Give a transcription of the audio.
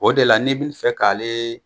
O de la ne bɛ fɛ k'ale